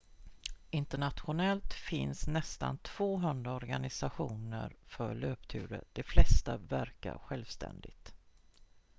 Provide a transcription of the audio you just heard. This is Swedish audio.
internationellt finns nästan 200 organisationer för löpturer de flesta verkar självständigt